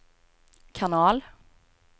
kanal